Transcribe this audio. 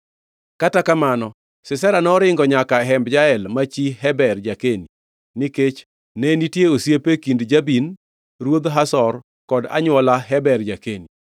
Kata kamano, Sisera, noringo nyaka e hemb Jael, ma chi Heber ja-Keni, nikech ne nitie osiep e kind Jabin ruodh Hazor kod anywola Heber ja-Keni.